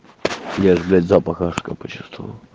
я же блять запах ашка почтуствовал